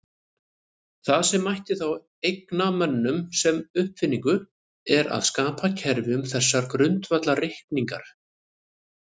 Það sem mætti þá eigna mönnum sem uppfinningu er að skapa kerfi um þessar grundvallareiningar.